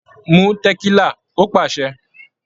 "Mú tẹ̀kílà" Ó pàṣẹ.